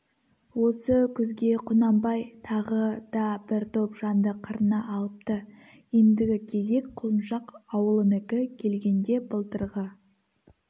осы күзге құнанбай тағы да бір топ жанды қырына алыпты ендігі кезек құлыншақ ауылынікі келгенде былтырғы